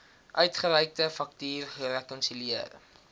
uitgereikte faktuur gerekonsilieer